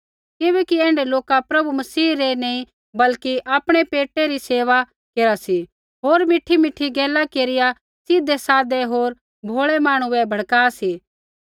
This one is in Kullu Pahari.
किबैकि ऐण्ढै लोका प्रभु मसीह री नैंई बल्कि आपणै पेटा री सेवा केरा सी होर मीठीमीठी गैला केरिया सीधै साधे होर भोलै मांहणु बै भड़का सी